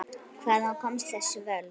Hvaðan koma þessi völd?